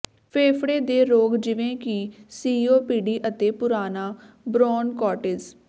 ਫੇਫੜੇ ਦੇ ਰੋਗ ਜਿਵੇਂ ਕਿ ਸੀਓਪੀਡੀ ਅਤੇ ਪੁਰਾਣਾ ਬ੍ਰੌਨਕਾਟੀਜ